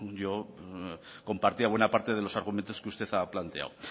yo compartía buena parte de los argumentos que usted ha planteado